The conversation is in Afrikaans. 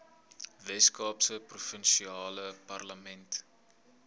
weskaapse provinsiale parlement